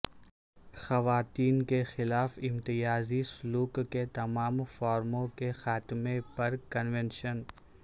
خواتین کے خلاف امتیازی سلوک کے تمام فارموں کے خاتمے پر کنونشن